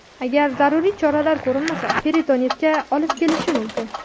Agar zaruriy choralar ko‘rilmasa, peritonitga olib kelishi mumkin.